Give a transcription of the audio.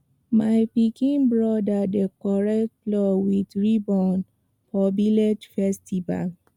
my pikin brother decorate plow with ribbon for village festival